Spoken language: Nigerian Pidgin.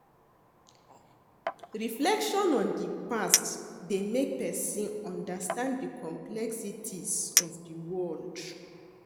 Reflection on di past dey make pesin understand di complexities of di world.